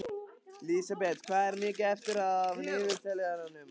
Lísebet, hvað er mikið eftir af niðurteljaranum?